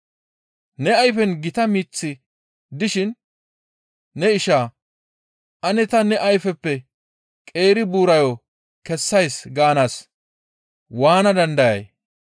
Ne ayfen gita miththi dishin ne isha, ‹Ane ta ne ayfeppe qeeri buurayo kessays› gaanaas waana dandayay?